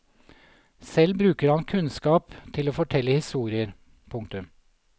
Selv bruker han kunnskap til å fortelle historier. punktum